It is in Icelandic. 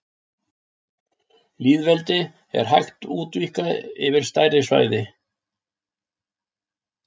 Lýðveldi er hægt útvíkka yfir stærri svæði.